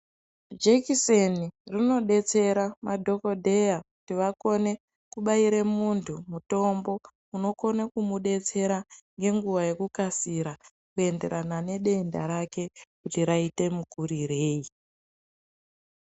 Jekiseni rinodetsera madhogodheya kuti vakone kubaire muntu mutombo unokone kumudetsera ngenguwa yekukasira kuenderana nedenda rake kuti raite mukurirei.